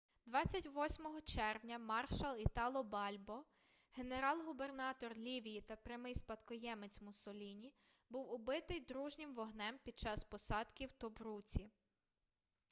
28 червня маршал італо бальбо генерал-губернатор лівії та прямий спадкоємець муссоліні був убитий дружнім вогнем під час посадки у тобруці